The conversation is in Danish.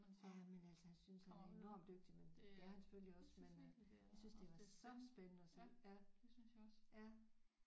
Ja men altså han synes han er enormt dygtigt men det er han selvfølgelig også men øh jeg synes det var så spændende at se ja ja